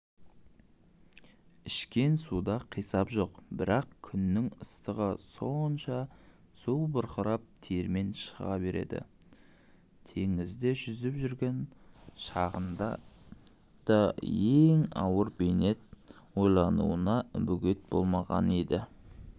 ішкен суда қисап жоқ бірақ күннің ыстығы сонша су бұрқырап термен шыға береді теңізде жүзіп жүрген шағында да ең ауыр бейнет ойлануына бөгет болмаған еді